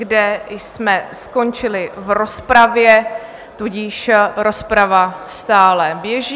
kde jsme skončili v rozpravě, tudíž rozprava stále běží.